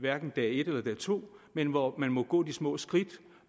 hverken dag et eller dag to men hvor man må gå de små skridt